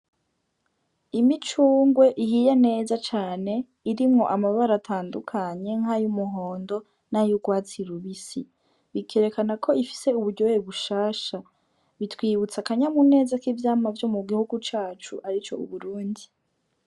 Imicungwe ihiye neza cane irimwo amabaratandukanye nk'ay'umuhondo nay’urwatsi rubisi bikerekana ko ifise uburyoye bushasha bitwibutse akanyamuneza k'ivyamwa vyo mu gihugu cacu ari co uburundi.